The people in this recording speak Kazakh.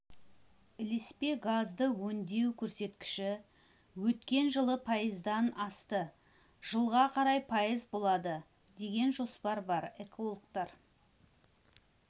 ілеспе газды өңдеу көрсеткіші өткен жылы пайыздан асты жылға қарай пайыз болады деген жоспар бар экологтар